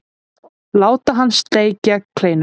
Láta hann steikja kleinur.